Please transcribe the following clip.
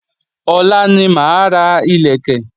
Ọ̀la ní máa ra ìlẹ̀kẹ̀